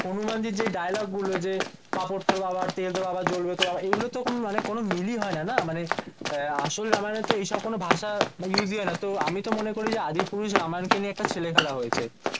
হনুমানজির যে dialogue গুলো যে কাপড় তোর বাবার তেল তোর বাবার জ্বলবে তোর বাবার এগুলোর তো কোনো মিলই হয়ে না না মানে আসল রামায়ণ এই সব কোনো ভাষা উস হয়না তো আমি তো মনে করি আদিপুরুষ রামায়ণ কে নিয়ে একটা ছেলে খেলা হয়েছে